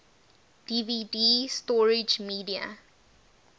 dvd storage media